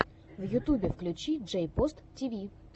в ютюбе включи джейпос тв